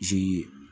zeni